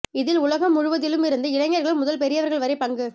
இதில் உலகம் முழுவதிலும் இருந்து இளைஞர்கள் முதல் பெரியவர்கள் வரையில் பங்கு